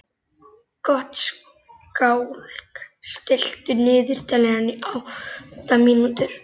Gottskálk, stilltu niðurteljara á átta mínútur.